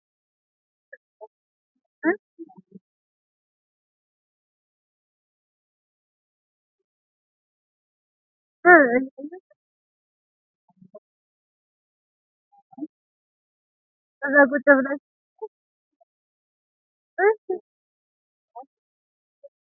tini aleni leltano misileni maayi leelano yinnumoro. kunni gercho maanchoti dirisi xibbena ontawo dirroti. isi kayini sema udire noo. qubichohono cuicho wodhino.